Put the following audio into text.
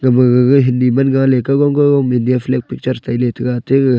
maga gaga hindi man galey kaogam kaogam India flag picture India tailay taga taiga.